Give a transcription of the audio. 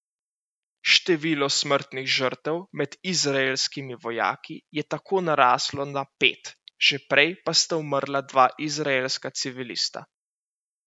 Število smrtnih žrtev med izraelskimi vojaki je tako naraslo na pet, že prej pa sta umrla dva izraelska civilista.